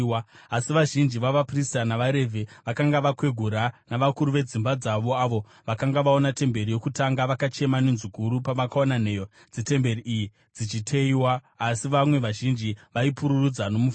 Asi vazhinji vavaprista navaRevhi vakanga vakwegura navakuru vedzimba dzavo, avo vakanga vaona temberi yokutanga, vakachema nenzwi guru pavakaona nheyo dzetemberi iyi dzichiteyiwa, asi vamwe vazhinji vaipururudza nomufaro.